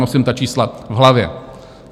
Nosím ta čísla v hlavě.